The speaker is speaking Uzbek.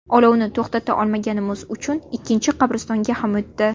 Olovni to‘xtata olmaganimiz uchun ikkinchi qabristonga ham o‘tdi.